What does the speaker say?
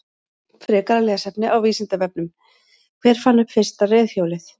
Frekara lesefni á Vísindavefnum: Hver fann upp fyrsta reiðhjólið?